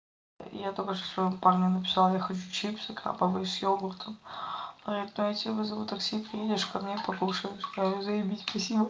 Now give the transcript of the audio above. я только что своему парню написал я хочу чипсы крабовые с йогуртом это ну я тебе вызову такси приедешь ко мне покушаешь я говорю заебись спасибо